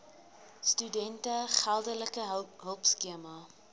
studente geldelike hulpskema